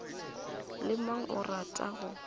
le mang o rata go